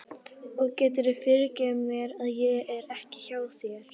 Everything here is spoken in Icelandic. Og geturðu fyrirgefið mér að ég er ekki hjá þér?